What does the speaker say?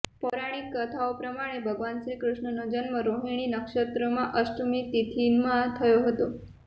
પૌરાણિક કથાઓ પ્રમાણે ભગવાન શ્રીકૃષ્ણનો જન્મ રોહિણી નક્ષત્રમાં અષ્ટમી તિથિમાં થયો હતો